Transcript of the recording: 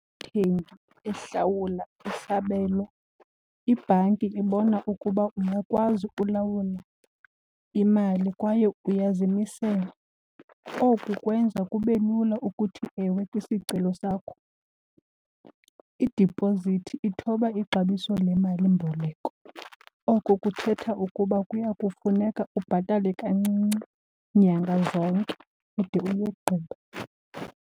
ehlawula isabelo ibhanki ibona ukuba ungakwazi ulawula imali kwaye uyazimisela. Oku kwenza kube lula ukuthi ewe kwisicelo sakho. Idipozithi ithoba ixabiso lemalimboleko, oko kuthetha ukuba kuya kufuneka ubhatale kancinci nyanga zonke ude uyigqibe.